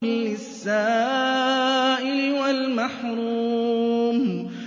لِّلسَّائِلِ وَالْمَحْرُومِ